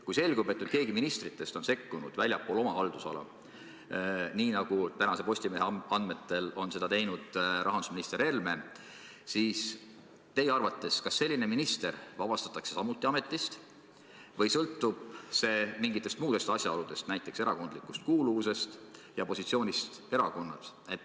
Kui selgub, et keegi ministritest on sekkunud väljaspool oma haldusala, nii nagu tänase Postimehe andmetel on seda teinud rahandusminister Helme, siis kas teie arvates selline minister vabastatakse samuti ametist või sõltub see mingitest muudest asjaoludest, näiteks erakondlikust kuuluvusest ja positsioonist erakonnas?